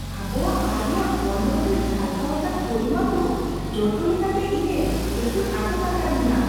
ᱟᱵᱚᱣᱟᱜ ᱟᱭ ᱨᱮᱭᱟᱜ ᱵᱚᱨᱱᱚᱱ ᱨᱮ ᱡᱷᱟᱞᱠᱟᱣ ᱟᱠᱟᱱ ᱯᱚᱨᱤᱢᱟᱱ ᱫᱚ ᱡᱚᱛᱚ ᱞᱮᱠᱟᱛᱮ ᱤᱧᱮ ᱮᱥᱮᱫ ᱟᱴᱚᱠ ᱟᱠᱟᱫᱤᱧᱟ ᱾